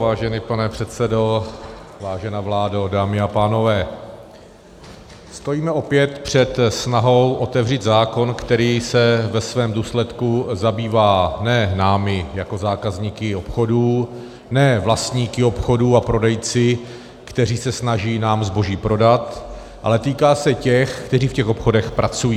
Vážený pane předsedo, vážená vládo, dámy a pánové, stojíme opět před snahou otevřít zákon, který se ve svém důsledku zabývá ne námi jako zákazníky obchodů, ne vlastníky obchodů a prodejci, kteří se snaží nám zboží prodat, ale týká se těch, kteří v těch obchodech pracují.